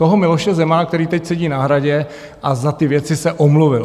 Toho Miloše Zemana, který teď sedí na Hradě a za ty věci se omluvil.